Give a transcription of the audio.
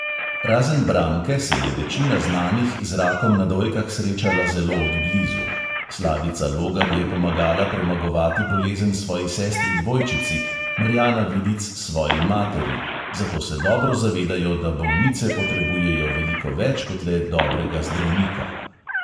Razen branke, se je večina znanih z rakom na dojkah srečala zelo od blizu – slavica logar je pomagala premagovati bolezen svoji sestri dvojčici, marjana vidic svoji materi –, zato se dobro zavedajo, da bolnice potrebujejo veliko več kot le dobrega zdravnika.